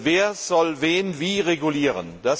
Wer soll wen wie regulieren?